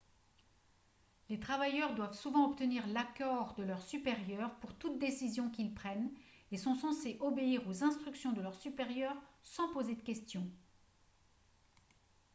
les travailleurs doivent souvent obtenir l'accord de leurs supérieurs pour toute décision qu'ils prennent et sont censés obéir aux instructions de leurs supérieurs sans poser de questions